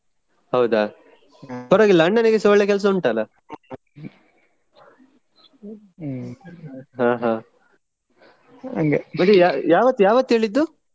ಹೌದಾ ಪರ್ವಾಗಿಲ್ಲ ಅಣ್ಣನಿಗೆಸ ಒಳ್ಳೆ ಕೆಲಸ ಉಂಟಲ್ಲಾ ಯಾವತ್ತು ಯಾವತ್ತು ಹೇಳಿದ್ದು?